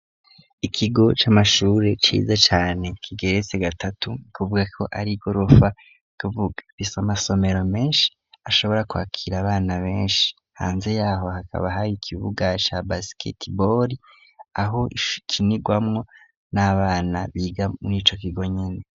Ikigo c'amashure ciza cane kigeretse gatatu kuvuga ko ar'igorofa kuvuga bisa amasomero menshi ashobora kwakira abana benshi hanze yaho hakaba hari ikibuga ca basketball aho ikinigwamwo n'abana biga murico kigo nyene.